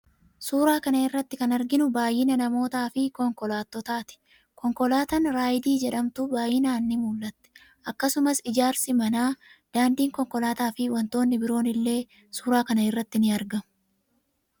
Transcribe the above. Suuraa kana irratti kan arginu baay'ina namootaa fi konkolaattotaa ti. Konkolaataan 'Raayidii' jedhamtu baay'inaan ni mul'atti. Akkasumas ijaarsi manaa, daandii konkolaataa, fi wantoonni biroon illee suuraa kana irratti ni argamu.